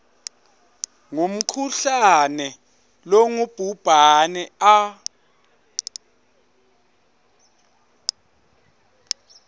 ngumkhuhlane longubhubhane a